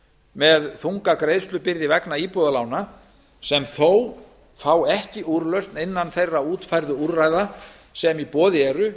með þunga greiðslubyrði vegna íbúðalána sem þó fá ekki úrlausn innan þeirra fjölmörgu útfærðu úrræða sem í boði eru